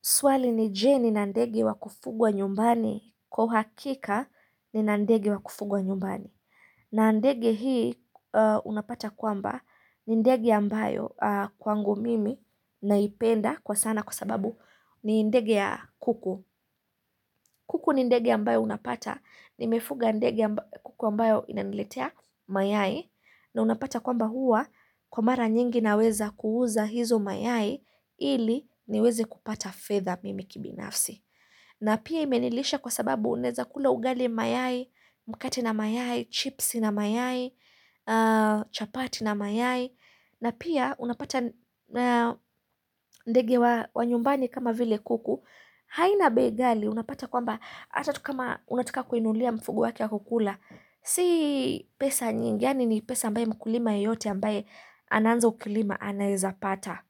Swali ni jee nina ndege wa kufugwa nyumbani kwa uhakika nina ndegi wa kufugwa nyumbani. Na ndege hii unapata kwamba ni ndege ambayo kwangu mimi naipenda kwa sana kwa sababu ni ndege ya kuku. Kuku ni ndege ambayo unapata nimefuga ndege kuku ambayo inaniletea mayai. Na unapata kwamba huwa kwa mara nyingi naweza kuuza hizo mayai ili niweze kupata fedha mimi kibinafsi. Na pia imenilisha kwa sababu uneza kula ugali mayai, mkati na mayai, chips na mayai, chapati na mayai na pia unapata ndege wa nyumbani kama vile kuku, haina bei kali unapata kwamba Hata kama unataka kuinunulia mfugo wake wa kukula Si pesa nyingi yaani ni pesa ambayo mkulima yeyote ambaye anaanza ukulima anaezapata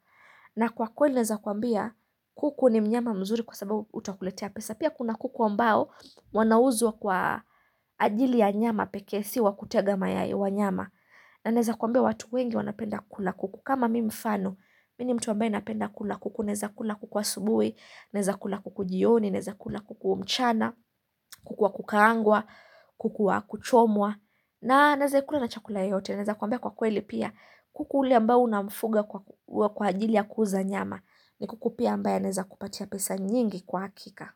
na kwa kweli naeza kwambia kuku ni mnyama mzuri kwa sababu utakuletea pesa Pia kuna kuku ambao wanauzwa kwa ajili ya nyama pekee si wa kutega mayai wa nyama na naeza kwambia watu wengi wanapenda kukula kuku kama mfano, mini mtu ambaye napenda kukula kuku Neza kukula kuku wa subuhi, naeza kukula kuku jioni, naeza kukula kuku mchana kuku wa kukaangwa, kuku wa kuchomwa na naeza ikula na chakula yoyote naeza kwambia kwa kweli pia kuku ule ambaye unamfuga kwa ajili ya kuuza nyama ni kuku pia ambaye aneeza kupatia pesa nyingi kwa hakika.